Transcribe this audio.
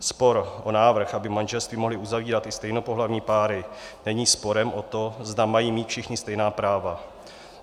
Spor o návrh, aby manželství mohly uzavírat i stejnopohlavní páry, není sporem o to, zda mají mít všichni stejná práva.